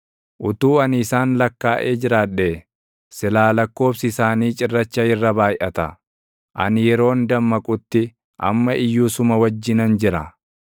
Utuu ani isaan lakkaaʼee jiraadhee, silaa lakkoobsi isaanii cirracha irra baayʼata. Ani yeroon dammaqutti, amma iyyuu suma wajjinan jira.